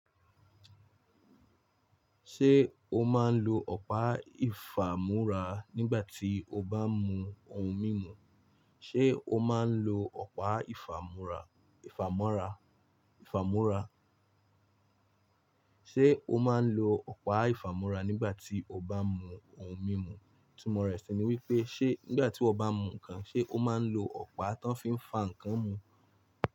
Ṣé o máa ń lo ọ̀pá ìfàmú́ra nígbà tí o bá mú ohun mímu? Ṣé o máa ń lo ọ̀pá ìfàmú́ra, ìfàmọ́ra, ìfàmú́ra? Ṣé o máa ń lo ọ̀pá ìfàmú́ra nígbà tí o bá mú ohun mímu? Itumọ̀ rẹ̀ ṣe ni wípé ṣe nígbà tí iwo bá mú ǹkan, ṣe o máa ń lo ọ̀pá ti wón fi ń fá ǹkan mu?